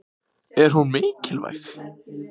Er hún mikilvæg?